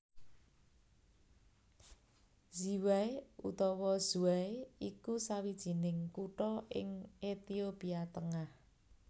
Ziway utawa Zway iku sawijining kutha ing Ethiopia tengah